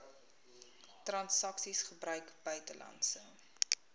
transaksies gebruik buitelandse